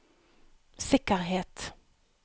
sikkerhet